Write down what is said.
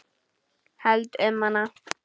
Held um hana.